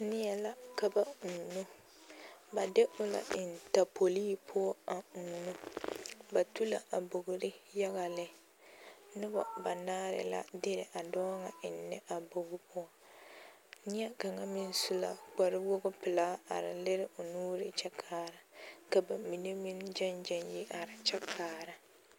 Neɛ la ka ba uuno ba de o la eŋ tapolii poɔ a uuno ba tu la a bogre yaga lɛ noba banaare la de a dɔɔ ŋa eŋnɛ a bogi poɔ neɛ kaŋ meŋ su la kparewogipelaa a are lere o nuure kyɛ kaara ka ba mine meŋ gyɛŋ gyɛŋ yi are kyɛ kaara .